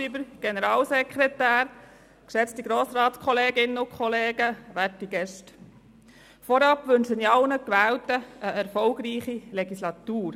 Vorab wünsche ich allen Gewählten eine erfolgreiche Legislatur.